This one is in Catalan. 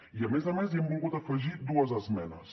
i a més a més hi hem volgut afegir dues esmenes